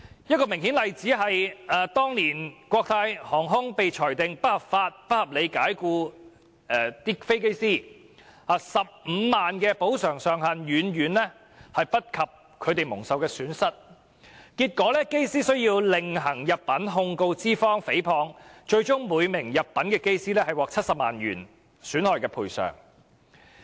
一個明顯例子是，當年國泰航空公司被裁定不合理及不合法解僱機師 ，15 萬元的補償上限遠低於機師蒙受的損失，結果機師須另行入稟，控告資方誹謗，最終每名入稟的機師獲得70萬元的損害賠償。